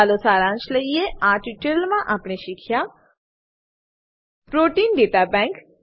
ચાલો સારાંશ લઈએ આ ટ્યુટોરીયલ માં આપણે શીખ્યા પ્રોટીન દાતા બેન્ક